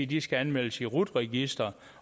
de skal anmeldes i rut registeret